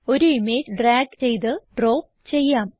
ഒരു image drag ചെയ്ത് drop ചെയ്യാം